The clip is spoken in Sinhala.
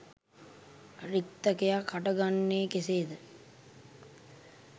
රික්තයක් හටගන්නේ කෙසේද?